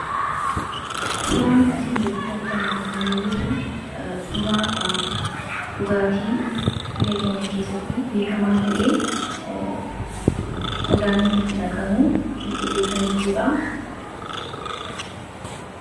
Suuraan asii gaditti argamu kun kan mul'isu suuraa dhugaatii biyya keenya keessatti beekama ta'ee qaruuraa inni itti naqamu kan mul'isudha.